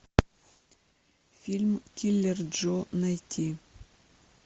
фильм киллер джо найти